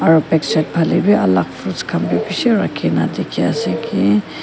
aro backside phale wi alak fruits khan bi bishi rakhina dikhi ase ki.